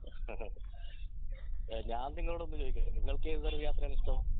ഞാൻ നിങ്ങളോട് ഒന്ന് ചോയ്ക്കട്ടെ നിങ്ങൾക്ക് ഏത് തരം യാത്രയാണ് ഇഷ്ട്ടം